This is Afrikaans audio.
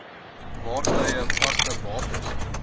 vaartuie vaste bates